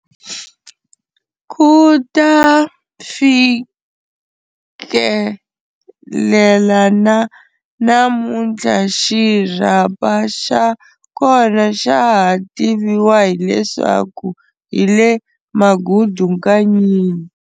Kuta fikelela na namunthla xirhapa xakona xa ha tiviwa hileswaku hile "Magudu Nkanyini".